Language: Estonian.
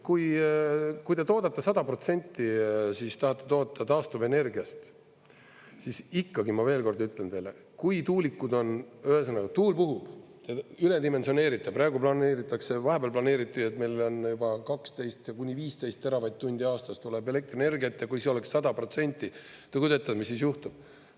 Kui te toodate, tahate toota 100% taastuvenergiast, siis ikkagi, ma veel kord ütlen teile, et kui tuulikud, ühesõnaga, tuul puhub, üledimensioneeritud, praegu planeeritakse – vahepeal planeeriti, et meil on juba 12–15 teravatt-tundi aastas tuleb elektrienergiat – ja kui see oleks 100%, te kujutage ette, mis siis juhtub.